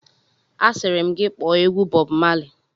Asịrị m gị kpọọ egwu Bọb Mali!